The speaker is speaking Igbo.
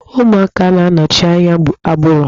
Ụmụaka na-anọchi anya agbụrụ.